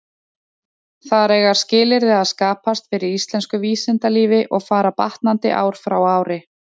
Þar eiga skilyrði að skapast fyrir íslensku vísindalífi, og fara batnandi ár frá ári.